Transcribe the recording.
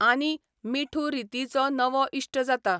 आनी मिठू रितीचो नवो इश्ट जाता.